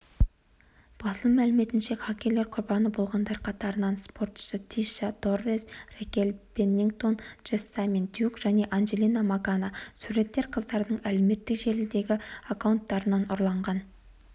басылым мәліметінше хакерлер құрбаны болғандар қатарында спортшысытиша торрес ракель пеннингтон джессамин дьюк және анджела магана суреттер қыздардың әлеуметтік желідегі аккаунттарынан ұрланған